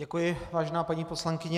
Děkuji, vážená paní poslankyně.